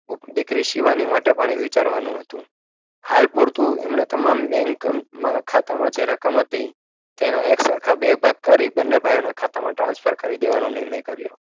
ઉપ દીકરી શિવાની માટે પણ એ વિચારવાનું હતુ હાલ પૂરતું એમણે તમામ બેન્કમા ખાતામાં જે રકમ હતી તેના એક સરખા બે ભાગ કરી બને ભાઇઓના ખાતામાં transfer કરી દેવાનો નિર્ણય કર્યો